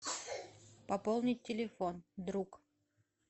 пополнить телефон друг